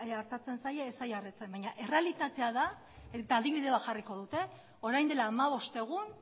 ongi artatzen zaie ez zaie artatzen baina errealitatea da eta adibide bat jarriko dut orain dela hamabost egun